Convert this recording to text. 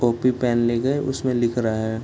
Copy pen ले गए उसमे लिख रहा है ।